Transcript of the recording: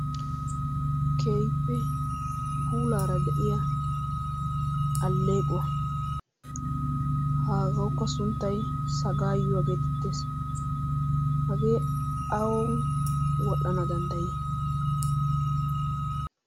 Keehippe puulara de'iyaa aleeqquwa. hagawukkas sunttay saggayuwa. hagee awan wodhdhana danddayi?